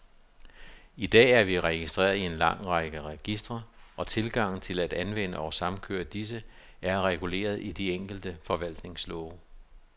I dag er vi registreret i en lang række registre, og tilgangen til at anvende og samkøre disse, er reguleret i de enkelte forvaltningslove.